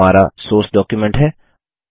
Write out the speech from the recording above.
यह हमारा source document है